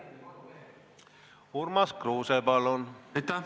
Urmas Kruuse, palun!